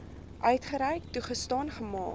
uitgereik toegestaan gemaak